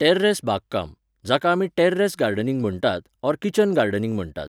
terrace बागकाम, जाका आमी टॅर्रेस गार्डनिंग म्हणटात ऑर किचन गार्डनिंग म्हणटात